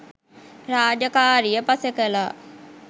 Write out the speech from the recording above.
රාජකාරිය පසෙකලා